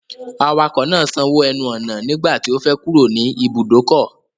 Awakọ̀ náà sanwó ẹnu ọ̀nà nígbà tí ó fẹ́ kúrò nì ìbùdókọ̀.